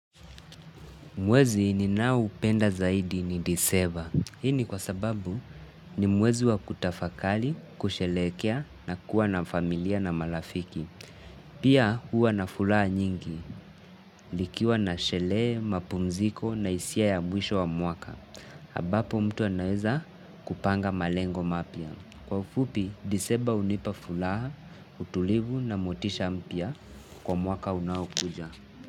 Mwezi ninaoupenda zaidi ni disemba. Hii ni kwa sababu ni mwezi wa kutafakari, kusherehekea na kuwa na familia na marafiki. Pia huwa na furaha nyingi. Nikiwa na sherehe, mapumziko na hisia ya mwisho wa mwaka. Ambapo mtu anaeza kupanga malengo mapya. Kwa ufupi disemba hunipa furaha, utulivu na motisha mpya kwa mwaka unaokuja.